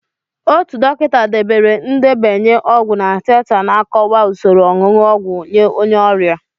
Otu dọkịta debere ndenye ọgwụ na teta na-akọwa usoro onunu ogwu nye onye ọrịa.